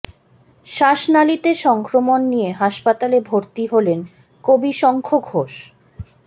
শ্বাসনালীতে সংক্রমণ নিয়ে হাসপাতালে ভর্তি হলেন কবি শঙ্খ ঘোষ